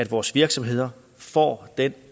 vores virksomheder får den